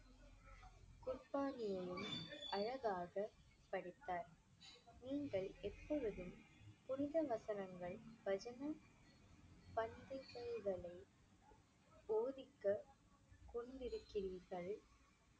புர்பாலியையும் அழகாக படித்தார் நீங்கள் எப்பொழுதும் புனித வசனங்கள் போதிக்க கொண்டிருக்கிறீர்கள்